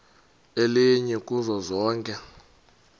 elinye kuzo zonke